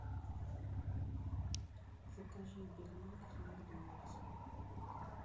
закажи бигмак из макдональдса